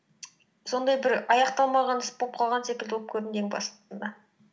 сондай бір аяқталмаған іс боп қалған секілді боп көрінген басында